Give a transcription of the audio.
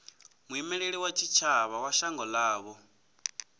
muimeli wa tshitshavha wa shango ḽavho